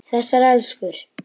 Þessar elskur.